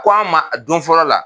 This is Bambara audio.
Ko an ma don fɔlɔ la.